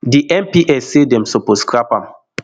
di mps say dem suppose scrap am